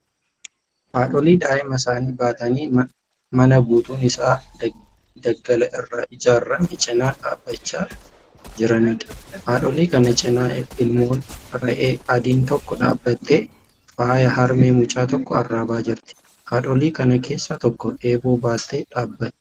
Haadholii daa'ima isaanii baatanii mana guutuun isaa daggala irraa ijaarame cina dhaabbachaa jiraniidha. Haadholii kana cina ilmoon re'ee adiin tokko dhaabbattee faayya harmee mucaa tokko arraabaa jirti. Haadholii kana keessaa tokko eeboo baattee dhaabbatti.